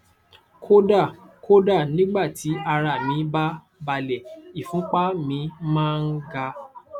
kódà kódà nígbà tí ara mí bá balẹ ìfúnpá mi máa ń ga